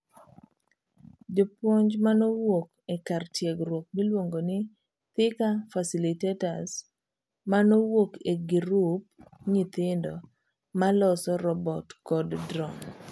Jopuonj manowuok e kar tiegruok miluongo ni 'Thika Facilitators manowuok e girub nyithindo maloso robot kod drone.